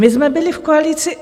My jsme byli v koalici.